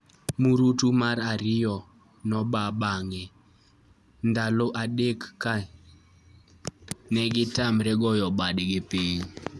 Mrutu mar ariyo noba bang' ndalo adek ka negi tamre goyo badgi piny